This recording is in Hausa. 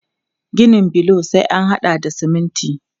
Ginin bulo sai an haɗa da siminti.